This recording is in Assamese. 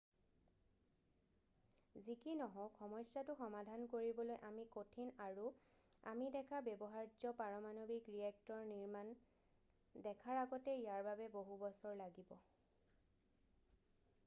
যি কি নহওক সমস্যাটো সমাধান কৰিবলৈ অতি কঠিন আৰু আমি দেখা ব্যৱহাৰ্য পাৰমানৱিক ৰিয়েক্টৰ নিৰ্মাণ দেখাৰ আগতে ইয়াৰ বাবে বহু বছৰ লাগিব